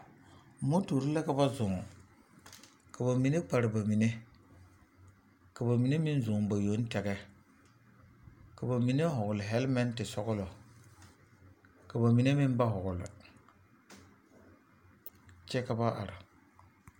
Motore la ka ba zɔɔ ka ba mine kpare ba mine ka ba mine meŋ zɔɔ ba yoŋ tɛgɛ ka ba mine hɔgle hɛlmɛŋti sɔglɔ ka ba mine ba hɔgle kyɛ ka ba are.